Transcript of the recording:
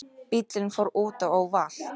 Bíllinn fór útaf og valt